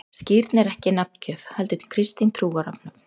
Skírn er ekki nafngjöf, heldur kristin trúarathöfn.